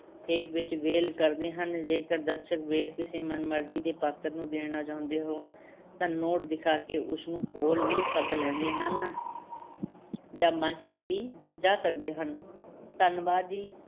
ਹੇਕ ਵਿੱਚ ਵੇਲ ਕਰਦੇ ਹਨ, ਜੇਕਰ ਦਰਸ਼ਕ ਵੇਲ ਕਿਸੇ ਮਨ-ਮਰਜ਼ੀ ਦੇ ਪਾਤਰ ਨੂੰ ਦੇਣਾ ਚਾਹੁੰਦੇ ਹੋਣ ਤਾਂ ਨੋਟ ਦਿਖਾ ਕੇ ਉਸ ਨੂੰ ਕੋਲ ਵੀ ਸੱਦ ਲੈਂਦੇ ਹਨ ਜਾਂ ਮੰਚ ’ਤੇ ਵੀ ਜਾ ਸਕਦੇ ਹਨ, ਧੰਨਵਾਦ ਜੀ।